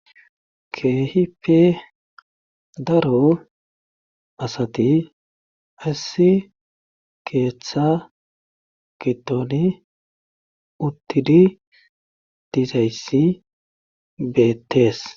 keehipe daro asati assi keeththa kitoni uttidi dizayssi beettees